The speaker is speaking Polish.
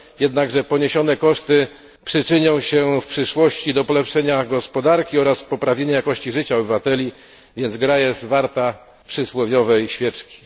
Jednakże poniesione koszty przyczynią się w przyszłości do polepszenia gospodarki oraz poprawienia jakości życia obywateli, a więc gra jest warta przysłowiowej świeczki.